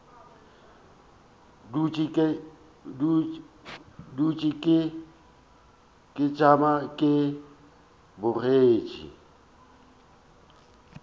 dutše ke tšama ke bogetše